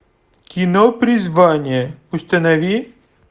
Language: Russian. кино призвание установи